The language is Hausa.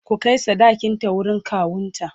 ku Kai sadakin ta wurin kawunta!